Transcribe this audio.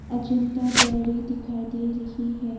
Ajanta dairy दिखाए दे रही है।